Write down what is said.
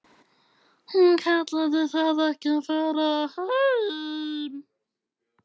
Hún kallaði það ekki að fara heim.